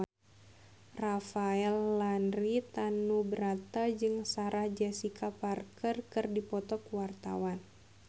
Rafael Landry Tanubrata jeung Sarah Jessica Parker keur dipoto ku wartawan